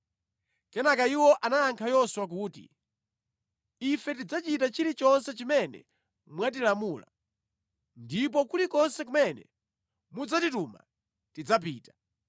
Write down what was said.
Kenaka iwo anayankha Yoswa kuti, “Ife tidzachita chilichonse chimene mwatilamula, ndipo kulikonse kumene mudzatitume tidzapita.